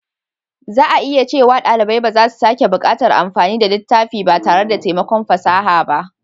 Za a iya cewa ɗalibai ba za su sake buƙatar amfani da littafi ba tare da taimakon fasaha ba.